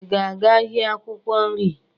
Ị ga-aga ahịa akwụkwọ nri?